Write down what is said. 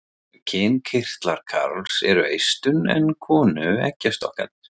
Kynkirtlar karls eru eistun en konu eggjastokkarnir.